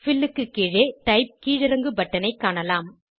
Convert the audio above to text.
bill க்கு கீழே type கீழிறங்கு பட்டனைக் காணலாம்